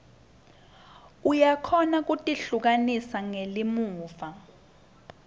uyakhona kutihlukanisa ngelimuva